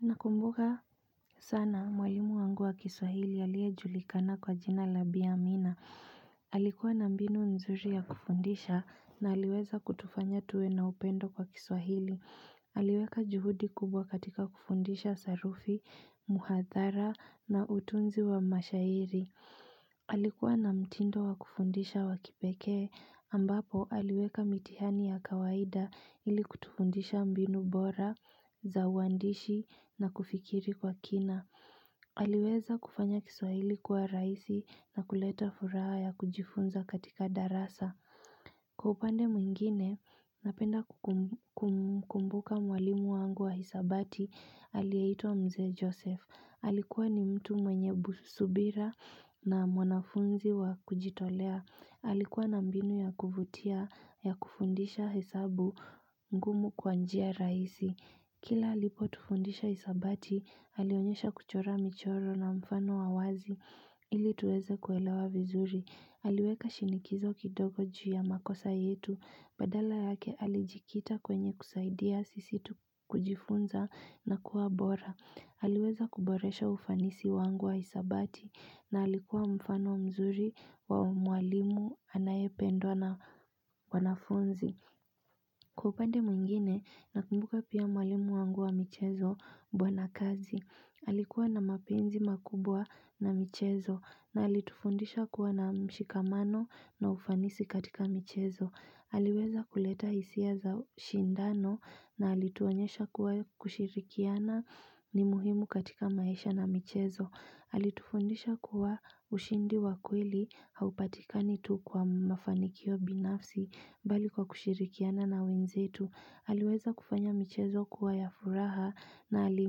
Nakumbuka sana mwalimu wangu wa kiswahili alie julikana kwa jina labia amina. Halikuwa na mbinu nzuri ya kufundisha na haliweza kutufanya tuwe na upendo kwa kiswahili. Haliweka juhudi kubwa katika kufundisha sarufi, muhathara na utunzi wa mashairi. Alikuwa na mtindo wakufundisha wakipekee ambapo aliweka mitihani ya kawaida ili kutufundisha mbinu bora, zauwandishi na kufikiri kwa kina Aliweza kufanya kiswahili kuwa raisi na kuleta furaha ya kujifunza katika darasa Kupande mwingine napenda kukumbuka mwalimu wangu wa hisabati alietwa mzee Joseph. Halikuwa ni mtu mwenye subira na mwanafunzi wa kujitolea. Halikuwa na mbinu ya kuvutia ya kufundisha hesabu ngumu kwanjia raisi. Kila alipo tufundisha hisabati, halionyesha kuchora michoro na mfano awazi. Ili tuweze kuelewa vizuri. Haliweka shinikizo kidogo juu ya makosa yetu. Badala yake halijikita kwenye kusaidia sisi kujifunza na kuwa bora. Haliweza kuboresha ufanisi wangu wa hisabati na halikuwa mfano mzuri wa mwalimu anaye pendwa na wanafunzi. Kwa upande mwingine, nakumbuka pia mwalimu wangu wa michezo mbwana kazi. Halikuwa na mapenzi makubwa na michezo na halitufundisha kuwa na mshikamano na ufanisi katika michezo. Haliweza kuleta hisia za ushindano na hali tuanyesha kuwa kushirikiana ni muhimu katika maisha na michezo. Hali tufundisha kuwa ushindi wa kweli haupatikani tu kwa mafanikio binafsi mbali kwa kushirikiana na wenzetu Haliweza kufanya michezo kuwa ya furaha na hali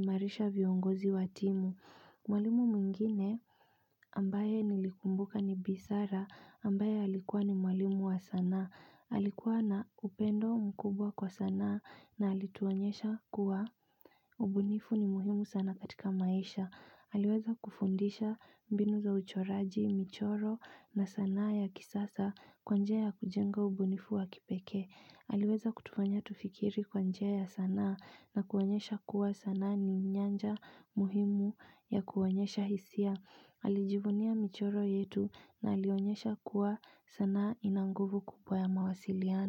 marisha viongozi wa timu Mwalimu mwingine ambaye nilikumbuka ni bisara ambaye alikuwa ni mwalimu wa sanaa Halikuwa na upendo mkubwa kwa sanaa na halituonyesha kuwa ubunifu ni muhimu sana katika maisha. Haliweza kufundisha mbinu za uchoraji, michoro na sanaa ya kisasa kwanjia ya kujenga ubunifu wa kipekee. Haliweza kutufanya tufikiri kwanjia ya sanaa na kuonyesha kuwa sana ni nyanja muhimu ya kuonyesha hisia. Alijivunia michoro yetu na alionyesha kuwa sanaa inanguvu kupo ya mawasiliano.